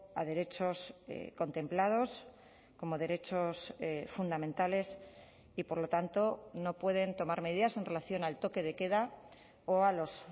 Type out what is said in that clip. a derechos contemplados como derechos fundamentales y por lo tanto no pueden tomar medidas en relación al toque de queda o a los